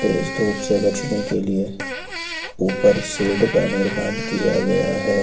तेज धूप से बचने के लिए ऊपर शेड का निर्माण किया गया है।